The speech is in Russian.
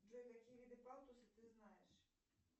джой какие виды палтуса ты знаешь